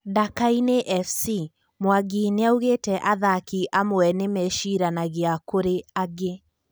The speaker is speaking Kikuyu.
Dakaine Fc: Mwangi niaugete athaki amwe nimecĩranagia kũri angĩ